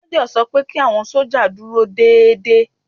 Méjọ̀ sọ pé kí àwọn sójà dúró déédédé